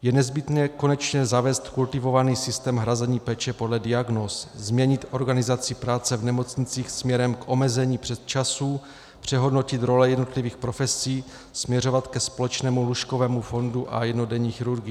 Je nezbytné konečně zavést kultivovaný systém hrazení péče podle diagnóz, změnit organizaci práce v nemocnicích směrem k omezení přesčasů, přehodnotit role jednotlivých profesí, směřovat ke společnému lůžkovému fondu a jednodenní chirurgii.